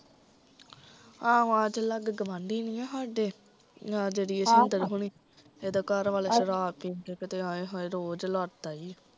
ਆਹ ਜੋ ਲਾਗੇ ਗਵਾਂਢੀ ਨੀ ਸਾਡੇ ਹਮ ਆਹ ਜਿਹੜੇ ਜਸਵਿੰਦਰ ਹੁਣੀ ਹੱਦ ਘਰਵਾਲਾ ਸ਼ਰਾਬ ਪੀਕੇ ਤੇ ਆਏ ਹਾਏ ਰੋਜ਼ ਲੜਦਾ ਈ